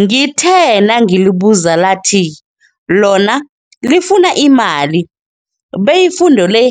Ngithe nangilibuza lathi lona lifuna imali be ifundo le